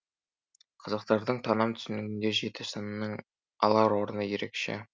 қазақтардың таным түсінігінде жеті санының алар орны ерекше